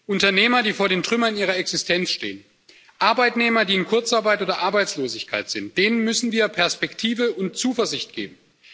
Unternehmern, die vor den Trümmern ihrer Existenz stehen, Arbeitnehmern, die in Kurzarbeit oder Arbeitslosigkeit sind, müssen wir Perspektiven und Zuversicht geben.